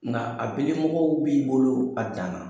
Nka a bilimɔgɔw b'i bolo a dan na.